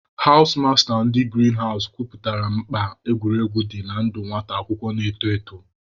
Hawụs masta ndị girin hawụs kọwapụtara mkpa egwuregwu dị na ndụ nwata akwụkwọ na-eto eto.